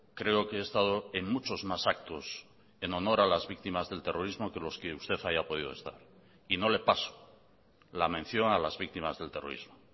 creo que he estado en muchos más actos en honor a las víctimas del terrorismo que los que usted haya podido estar y no le paso la mención a las víctimas del terrorismo